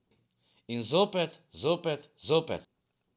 In zopet, zopet, zopet.